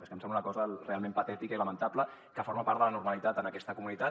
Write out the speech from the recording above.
és que em sembla una cosa realment patètica i lamentable que forma part de la normalitat en aquesta comunitat